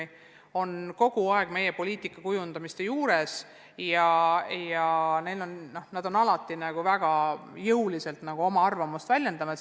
Nemad osalevad kogu aeg meie poliitika kujundamisel ja on alati väga jõuliselt oma arvamust väljendanud.